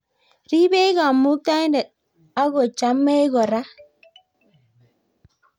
ribech kamuktaindet ak ko chamech kora